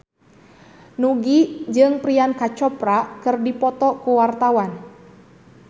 Nugie jeung Priyanka Chopra keur dipoto ku wartawan